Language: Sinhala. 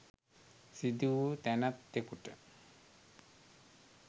සිදු වූ තැනැත්තෙකුට